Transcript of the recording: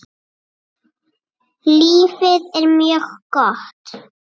Lífið er mjög gott.